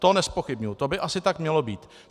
To nezpochybňuji, to by asi tak mělo být.